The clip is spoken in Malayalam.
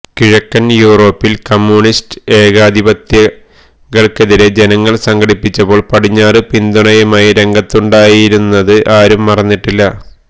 കിഴക്കന് യൂറോപ്പില് കമ്യൂണിസ്റ്റ് ഏകാധിപതികള്ക്കെതിരെ ജനങ്ങള് സംഘടിച്ചപ്പോള് പടിഞ്ഞാറ് പിന്തുണയുമായി രംഗത്തുണ്ടായിരുന്നത് ആരും മറന്നിട്ടില്ല